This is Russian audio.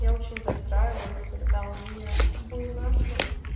я очень расстраивалась когда у меня был насморк